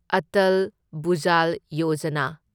Atal Bhujal Yojana